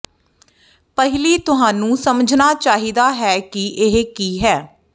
ਪਹਿਲੀ ਤੁਹਾਨੂੰ ਸਮਝਣਾ ਚਾਹੀਦਾ ਹੈ ਕਿ ਇਹ ਕੀ ਹੈ